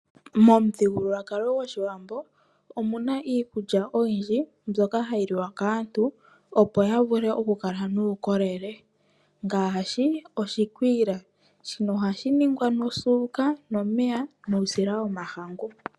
Momuthigululwakalo go shiwambo omuna iikulya oyindji mbyoka hayi liwa kaantu opo yavule okukala nuukolele ngaashi oshikwiila, shino oha shi ningwa nosuuka, nomeya nuusila womahangu.